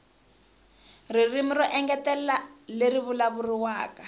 ririmi ro engetela leri vulavuriwaka